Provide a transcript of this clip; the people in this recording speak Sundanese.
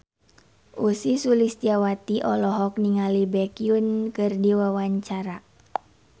Ussy Sulistyawati olohok ningali Baekhyun keur diwawancara